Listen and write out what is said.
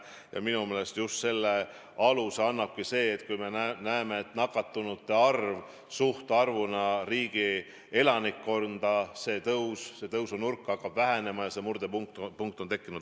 Ja minu meelest selle aluse annabki see, et kui me näeme, et nakatunute arv suhtarvuna võrreldes riigi elanikkonna arvuga hakkab vähenema, et murdepunkt on tekkinud.